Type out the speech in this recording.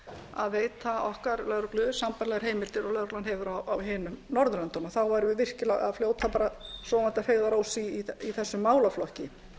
að veita okkar lögreglu sambærilegar heimildir og lögreglan hefur á hinum norðurlöndunum þá værum við virkilega að fljóta sofandi að feigðarósi í þessum málaflokki